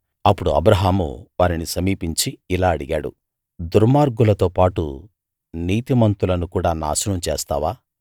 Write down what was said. అప్పడు అబ్రాహాము వారిని సమీపించి ఇలా అడిగాడు దుర్మార్గులతో పాటు నీతిమంతులను కూడా నాశనం చేస్తావా